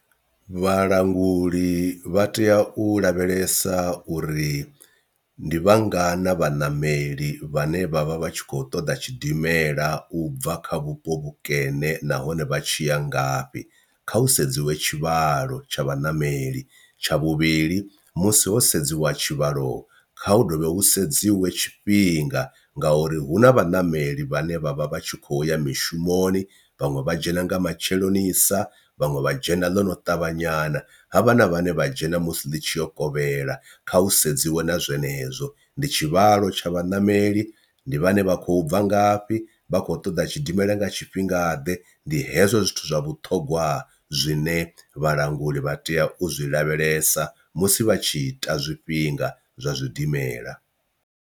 Vhalanguli vha tea u lavhelesa uri ndi vhangana vhaṋameli vhane vhavha vha tshi kho ṱoḓa tshidimela u bva kha vhupo vhukene nahone vha tshi ya ngafhi kha hu sedziwe tshivhalo tsha vhaṋameli, tsha vhuvhili musi ho sedziwa tshivhalo kha hu dovhe hu sedziwe tshifhinga nga uri hu na vhanameli vhane vhavha vhatshi kho ya mishumoni vhaṅwe vha dzhena nga matsheloni sa vhaṅwe vha dzhena ḽono ṱavha nyana ha vha na vhane vha dzhena musi ḽi tshi yo kovhela. Kha hu sedziwe na zwenezwo ndi tshivhalo tsha vhaṋameli ndi vhane vha khou bva ngafhi vhakho ṱoḓa tshidimela nga tshifhinga ḓe ndi hezwo zwithu zwa vhuṱhogwa zwine vhalanguli vha tea u zwi lavhelesa musi vha tshita zwifhinga zwa zwidimela.